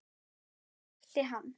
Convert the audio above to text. Þau þekkti hann.